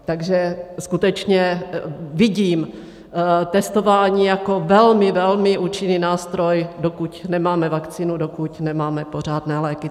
Takže skutečně vidím testování jako velmi, velmi účinný nástroj, dokud nemáme vakcínu, dokud nemáme pořádné léky.